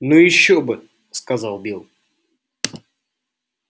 ну ещё бы сказал билл